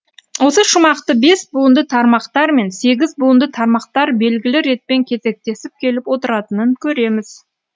осы шумақты бес буынды тармақтар мен сегіз буынды тармақтар белгілі ретпен кезектесіп келіп отыратынын көреміз